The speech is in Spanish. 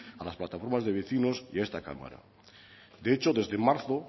a las plataformas de vecinos y a esta cámara de hecho desde marzo